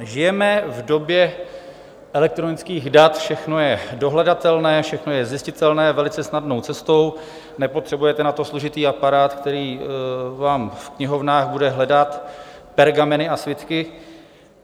Žijeme v době elektronických dat, všechno je dohledatelné, všechno je zjistitelné velice snadnou cestou, nepotřebujete na to složitý aparát, který vám v knihovnách bude hledat pergameny a svitky.